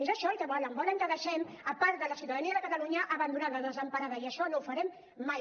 és això el que volen volen que deixem part de la ciutadania de catalunya abandonada desemparada i això no ho farem mai